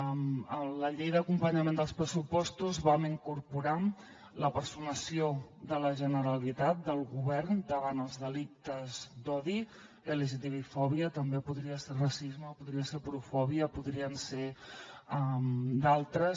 amb la llei d’acompanyament dels pressupostos vam incorporar la personació de la generalitat del govern davant els delictes d’odi lgtbi fòbia però també podria ser racisme podria ser aporofòbia podrien ser ne d’altres